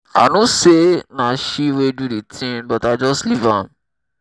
i know say na she wey do the thing but i just leave am